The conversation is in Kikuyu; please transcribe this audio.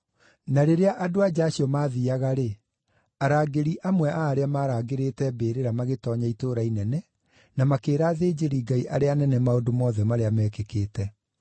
Na rĩrĩa andũ-a-nja acio maathiiaga-rĩ, arangĩri amwe a arĩa maarangĩrĩte mbĩrĩra magĩtoonya itũũra inene na makĩĩra athĩnjĩri-Ngai arĩa anene maũndũ mothe marĩa mekĩkĩte.